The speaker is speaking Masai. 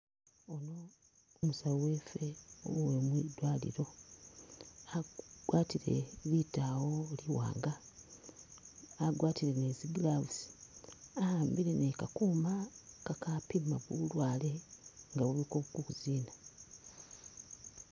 Umusawu wefe uwe mwidwalilo agwatile litawo liwanga agwatile ni tsi'gloves ahambile ni kakuma kakapima bulwale nga buli kukuzina.